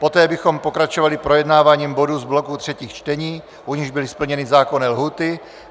Poté bychom pokračovali projednáváním bodů z bloku třetích čtení, u nichž byly splněny zákonné lhůty.